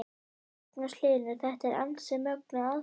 Magnús Hlynur: Þetta er ansi mögnuð aðferð?